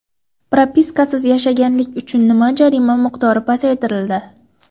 Propiskasiz yashaganlik uchun jarima miqdori pasaytirildi .